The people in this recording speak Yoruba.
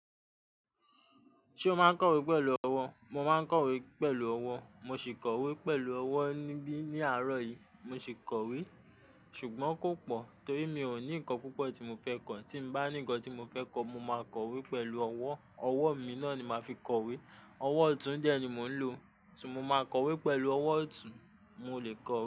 Ṣé o máa ń kọ̀wé pẹ̀lú ọwọ́? Mo máa ń kọ̀wé pẹ̀lú ọwọ́. Mo sì kọ̀wé pẹ̀lú ọwọ́ níbí ní àárọ̀ yìí, mo sì kọ̀wé. Ṣùgbọ́n kò pọ̀ torí mi ò ní nǹkan púpọ̀ tí mo fẹ́ kọ. Tí mo bá ní ǹkan tí mo fẹ́ kọ, mo máa kọ̀wé pẹ̀lú ọwọ́. Ọwọ́ mi náà ni màá fi kọ̀wé. Ọwọ́ ọ̀tún de ni mò ń lò, so mo máa kọ̀wé pẹ̀lú ọwọ́ ọ̀tún, mo lè kọ̀wé.